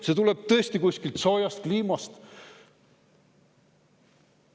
See tuleb tõesti kuskilt soojast kliimast.